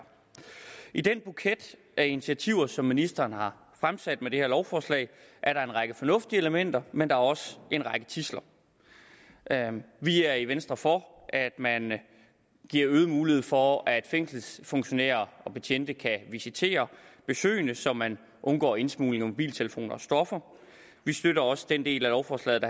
i den buket af initiativer som ministeren har fremsat med det her lovforslag er der en række fornuftige elementer men der er også en række tidsler vi er i venstre for at man giver øget mulighed for at fængselsfunktionærer og betjente kan visitere besøgende så man undgår indsmugling af mobiltelefoner og stoffer vi støtter også den del af lovforslaget